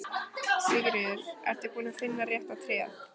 Sigríður: Ertu búinn að finna rétta tréð?